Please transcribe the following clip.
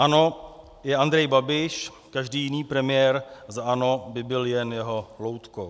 ANO je Andrej Babiš, každý jiný premiér za ANO by byl jen jeho loutkou.